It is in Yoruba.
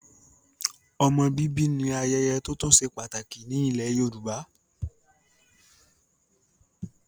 Ọmọ bíbí ni ayẹyẹ tótún se pàtàkì ní ilẹ̀ Yorùbá.